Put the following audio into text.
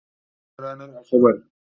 kije kasuwa ranar asabar!